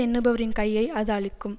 எண்ணுபவரின் கையை அது அழிக்கும்